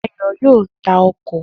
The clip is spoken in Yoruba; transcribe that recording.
Dayo yóò ta ọkọ̀